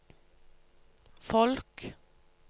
folk